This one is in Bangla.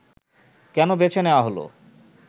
কেন বেছে নেয়া হলো